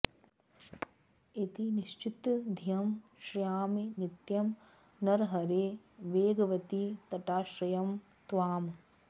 इति निश्चित धीः श्रयामि नित्यं नृहरे वेगवती तटाश्रयं त्वाम्